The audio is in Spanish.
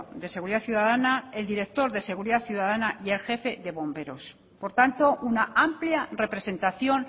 de seguridad ciudadana el director de seguridad ciudadana y el jefe de bomberos por tanto una amplia representación